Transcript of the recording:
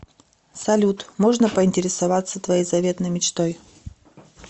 салют можно поинтересоваться твоей заветной мечтой